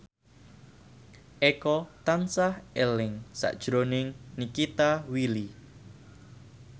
Eko tansah eling sakjroning Nikita Willy